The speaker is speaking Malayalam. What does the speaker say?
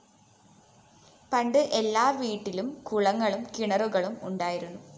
പണ്ട് എല്ലാ വീട്ടിലും കുളങ്ങളും കിണറുകളും ഉണ്ടായിരുന്നു